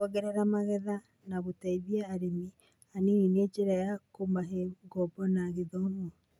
kuongerera magetha, na gũteithia arĩmi anini na njĩra ya kũmahe ngombo na gĩthomo.